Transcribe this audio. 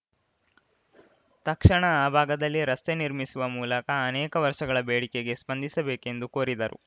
ತಕ್ಷಣ ಆ ಭಾಗದಲ್ಲಿ ರಸ್ತೆ ನಿರ್ಮಿಸುವ ಮೂಲಕ ಅನೇಕ ವರ್ಷಗಳ ಬೇಡಿಕೆಗೆ ಸ್ಪಂದಿಸಬೇಕೆಂದು ಕೋರಿದರು